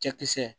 Cɛkisɛ